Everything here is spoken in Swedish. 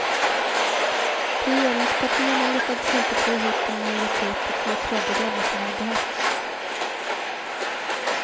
Regeringspartierna lyckades inte få ihop den majoritet på två tredjedelar som hade behövts.